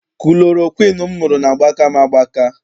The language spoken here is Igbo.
Kulorokwiinu m ṅụrụ na-agbaka m agbaka.